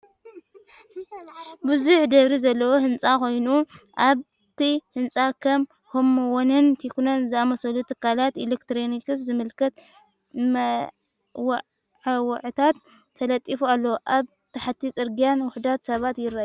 ብዙሕ ደብሪ ዘለዎ ህንጻ ኮይኑ፡ ኣብቲ ህንጻ ከም ሆምዋንን ቴክኖን ዝኣመሰሉ ትካላት ኤሌክትሮኒክስ ዝምልከት መወዓውዒታት ተለጢፉ ኣሎ። ኣብ ታሕቲ ጽርግያን ውሑዳት ሰባትን ይረኣዩ።